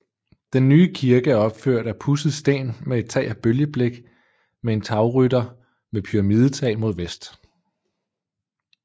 Den nye kirke er opført af pudset sten med tag af bølgeblik med en tagrytter med pyramidetag mod vest